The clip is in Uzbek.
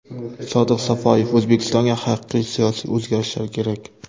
Sodiq Safoyev: O‘zbekistonga haqiqiy siyosiy o‘zgarishlar kerak.